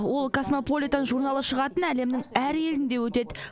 ол касмополитэн журналы шығатын әлемнің әр елінде өтеді